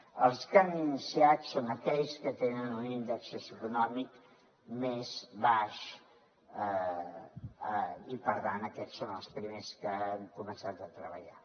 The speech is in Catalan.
pels que hem iniciat són aquells que tenen un índex socioeconòmic més baix i per tant aquests són els primers amb què hem començat a treballar